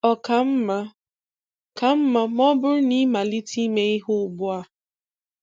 Ọ ka mma ka mma ma ọ bụrụ na ịmalite ime ihe ugbu a?